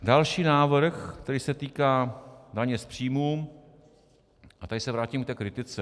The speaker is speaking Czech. Další návrh, který se týká daně z příjmu, a tady se vrátím k té kritice.